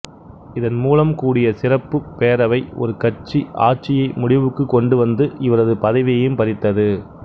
இதன்மூலம் கூடிய சிறப்பு பேரவை ஒருகட்சி ஆட்சியை முடிவுக்குக் கொண்டுவந்து இவரது பதவியையும் பறித்தது